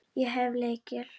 Ég hef lykil.